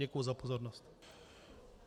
Děkuji za pozornost.